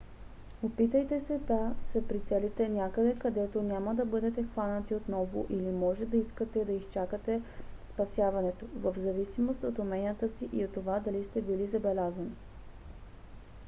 опитайте се да се прицелите някъде където няма да бъдете хванати отново или може да искате да изчакате спасяването. в зависимост от уменията си и от това дали сте били забелязани